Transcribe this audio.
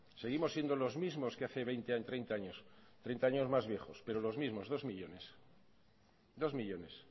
seguimos siendo los mismos que hacen veinte treinta años treinta años más viejos pero los mismos dos millónes